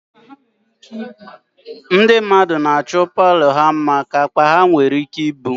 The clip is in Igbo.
Ndị mmadụ na-achọ palọ ha mma ka akpa ha nwere ike ibu